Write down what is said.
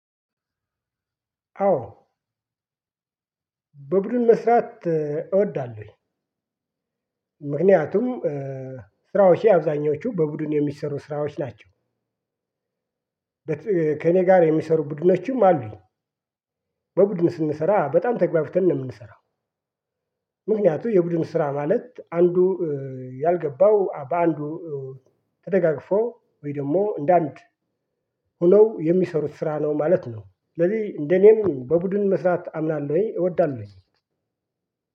አዎ በቡድን መስራት እወዳለሁ። ምክንያቱም ስራዎቼ አብዛኞቹ በቡድን የሚሰሩ ስራዎች ናቸው። ከእኔ ጋር የሚሰሩ ቡድኖችም አሉኝ። በቡድን ስንሰራ በጣም ተግባባተን ነው የምንሰራው። ምክንያቱም የቡድን ስራ ማለት አንዱ ያልገባው በአንዱ ተደጋግፎ ወይ ደግሞ እንደ አንድ ሆነው የሚሰሩት ስራ ነው ማለት ነው። ስለዚህ እንደኔም በቡድን መስራት አምናለሁ እወዳለሁ።